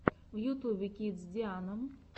в ютубе кидс диана